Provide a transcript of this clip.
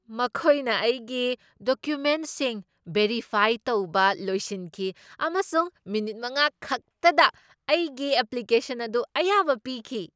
ꯃꯈꯣꯏꯅ ꯑꯩꯒꯤ ꯗꯣꯀ꯭ꯌꯨꯃꯦꯟꯠꯁꯤꯡ ꯚꯦꯔꯤꯐꯥꯏ ꯇꯧꯕ ꯂꯣꯏꯁꯤꯟꯈꯤ ꯑꯃꯁꯨꯡ ꯃꯤꯅꯤꯠ ꯃꯉꯥ ꯈꯛꯇꯗ ꯑꯩꯒꯤ ꯑꯦꯄ꯭ꯂꯤꯀꯦꯁꯟ ꯑꯗꯨ ꯑꯌꯥꯕ ꯄꯤꯈꯤ꯫